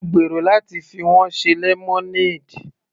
Mo gbèrò láti fi wọ́n ṣe lemonade.